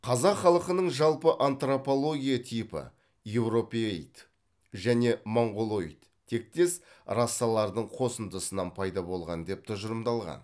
қазақ халқының жалпы антропология типі еуропеид және монғолоид тектес расалардың қосындысынан пайда болған деп тұжырымдалған